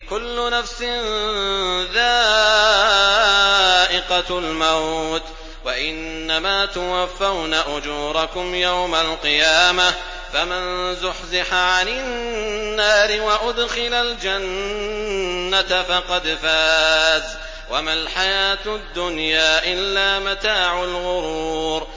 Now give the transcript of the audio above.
كُلُّ نَفْسٍ ذَائِقَةُ الْمَوْتِ ۗ وَإِنَّمَا تُوَفَّوْنَ أُجُورَكُمْ يَوْمَ الْقِيَامَةِ ۖ فَمَن زُحْزِحَ عَنِ النَّارِ وَأُدْخِلَ الْجَنَّةَ فَقَدْ فَازَ ۗ وَمَا الْحَيَاةُ الدُّنْيَا إِلَّا مَتَاعُ الْغُرُورِ